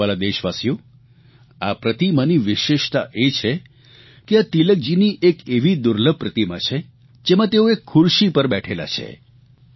અને મારા વ્હાલા દેશવાલીઓ આ પ્રતિમાની વિશેષતા એ છે કે આ તિલકજીની એક એવી દુર્લભ પ્રતિમા છે જેમાં તેઓ એક ખુરશી ઉપર બેઠેલા છે